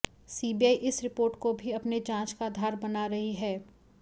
CBI इस report को भी अपने जांच का आधार बना रही है